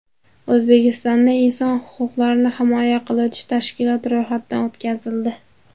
O‘zbekistonda inson huquqlarini himoya qiluvchi tashkilot ro‘yxatdan o‘tkazildi.